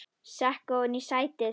Sekk ofan í sætið.